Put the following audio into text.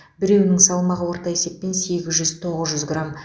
біреуінің салмағы орта есеппен сегіз жүз тоғыз жүз грамм